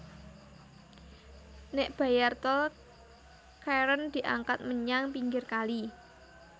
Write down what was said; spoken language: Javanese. Nék bayar tol Charon diangkat menyang pinggir kali